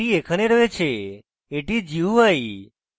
এটি এখানে রয়েছে এটি হল gui